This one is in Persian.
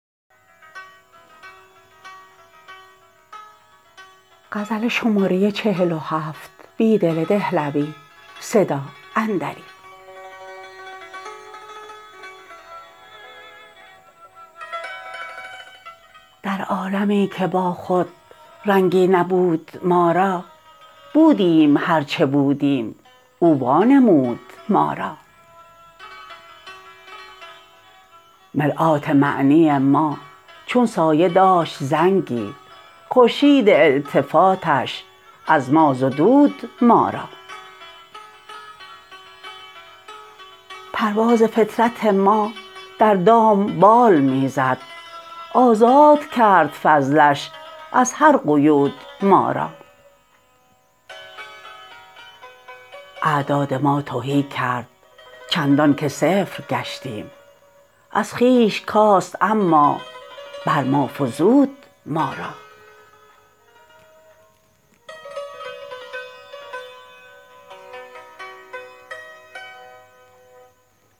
در عالمی که با خود رنگی نبود ما را بودیم هرچه بودیم او وانمود ما را مرآت معنی ما چون سایه داشت زنگی خورشید التفاتش از ما زدود ما را پرواز فطرت ما در دام بال می زد آزاد کرد فضلش از هر قیود ما را اعداد ما تهی کرد چندان که صفر گشتیم از خویش کاست اما بر ما فزود ما را